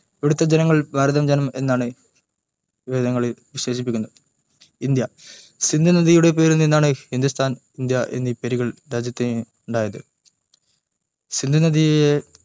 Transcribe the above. ഇവിടുത്തെ ജനങ്ങളെ ഭാരത ജനം എന്നാണ് വേദങ്ങളിൽ വിശേഷിപ്പിക്കുന്നത് ഇന്ത്യ സിന്ധു നദിയുടെ പേരിൽ നിന്നാണ് ഹിന്ദുസ്ഥാൻ ഇന്ത്യ എന്നീ പേരുകൾ രാജ്യത്തിനുണ്ടായത് സിന്ധു നദിയെ